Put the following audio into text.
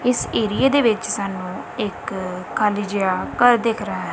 ਇਸ ਏਰੀਏ ਦੇ ਵਿੱਚ ਸਾਨੂੰ ਇੱਕ ਖਾਲੀ ਜਿਹਾ ਘਰ ਦਿਖ ਰਹਾ ਹੈ।